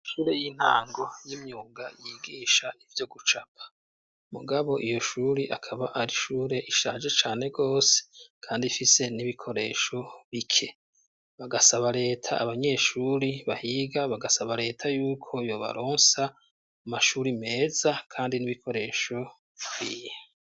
Amashure y'intango y'imyunga yigisha ivyo gucapa mugabo iyo shuri akaba ari ishure ishaje cane gose kandi ifise n'ibikoresho bike bagasaba leta abanyeshuri bahiga bagasaba leta y'uko yo baronsa mashuri meza kandi n'ibikoresho bikwiye.